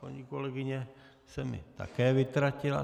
Paní kolegyně se mi také vytratila.